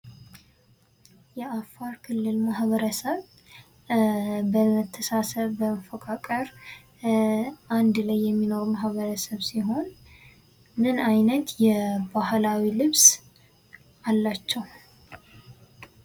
የአፋር ክልል ማህበረሰብ በመተሳሰብ በመፈቃቀር አንድ ላይ የሚኖር ማህበረሰብ ነው። ምን አይነት የባህላዊ ልብስ አላቸው?